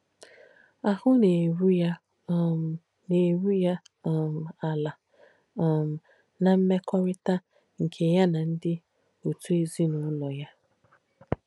Àhù nà-èrù yà um nà-èrù yà um álā um ná m̀mekọ̀rìtà nkè yà nà ndí ọ̀tù èzín’ùlọ̀ yà.